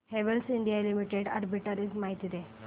Havells India limited arbitrage माहिती दे